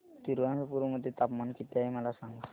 तिरूअनंतपुरम मध्ये तापमान किती आहे मला सांगा